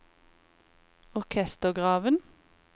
orkestergraven